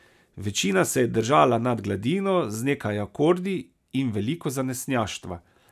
Večina se je držala nad gladino z nekaj akordi in veliko zanesenjaštva.